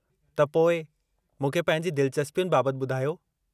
त पोइ, मूंखे पंहिंजी दिलिचस्पियुनि बाबतु ॿुधायो।